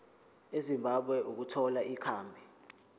ezimbabwe ukuthola ikhambi